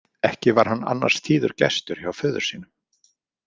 Ekki var hann annars tíður gestur hjá föður sínum.